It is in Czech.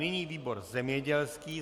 Nyní výbor zemědělský.